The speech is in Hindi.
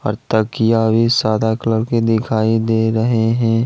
तकिया भी सादा कलर के दिखाई दे रहे हैं।